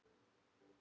Hún elskaði mig.